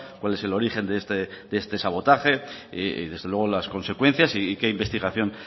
cuál es el origen de este sabotaje desde luego las consecuencias y qué investigación